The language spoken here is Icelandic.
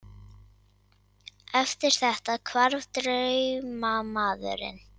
Eftir þetta hvarf draumamaðurinn.